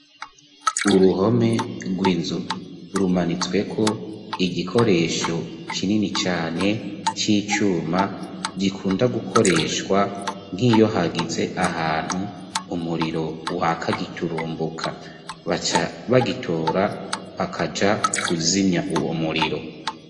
Uruhome rw'inzu rumanitswe ko igikoresho kinini cane c'icuma gikunda gukoreshwa nk'iyo hagize ahantu umuriro wa kagiturumbuka, bagitora bakaja kuzimya uwo muriro.